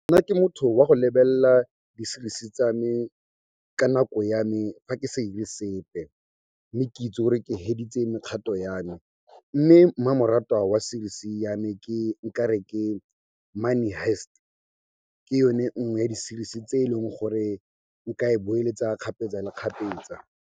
Nna ke motho wa go lebelela di series-i tsa me ka nako ya me fa ke sa 'ire sepe, mme ke itse gore ke feditse mekgato ya me, mme mmamoratwa wa series ya me ke, nkare ke Money Heist. Ke yone nngwe ya di series-i tse e leng gore nka e boeletsa kgapetsa le kgapetsa.